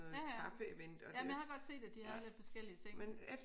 Ja ja ja men jeg har godt set at de havde lidt forskellige ting